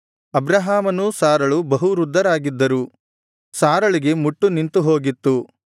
ಅಬ್ರಹಾಮನೂ ಸಾರಳೂ ಬಹುವೃದ್ಧರಾಗಿದ್ದರು ಸಾರಳಿಗೆ ಮುಟ್ಟು ನಿಂತು ಹೋಗಿತ್ತು